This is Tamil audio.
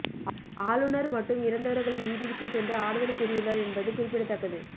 ஆளுநர் மட்டும் இறந்தவர்களின் வீட்டிற்கும் சென்று ஆறுதல் கூறியுள்ளார் என்பது குறிப்பிடத்தக்கது